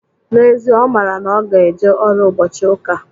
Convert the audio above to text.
N'ezie, Ọ mara na ọ ga-eje ọrụ ụbọchị ụka.